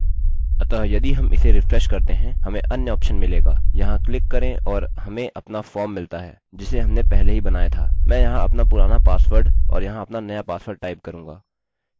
अतः यदि हम इस रिफ्रेश करते हैं हमें अन्य ऑप्शन मिलेगा यहाँ क्लिक करें और हमें अपना फॉर्म मिलता है जिसे हमने पहले ही बनाया था मैं यहाँ अपना पुराना पासवर्ड और यहाँ अपना नया पासवर्ड टाइप करूँगा